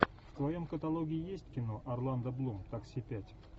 в твоем каталоге есть кино орландо блум такси пять